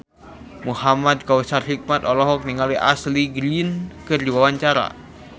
Muhamad Kautsar Hikmat olohok ningali Ashley Greene keur diwawancara